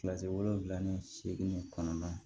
Kilasi wolonwula ni seegin kɔnɔna